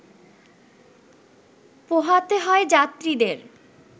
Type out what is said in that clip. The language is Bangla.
পোহাতে হয় যাত্রীদের